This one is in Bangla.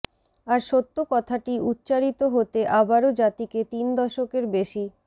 আর সত্য কথাটি উচ্চারিত হতে আবারও জাতিকে তিন দশকের বেশি